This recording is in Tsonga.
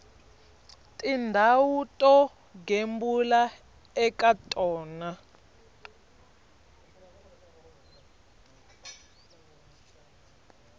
tindhawu to gembula eka tona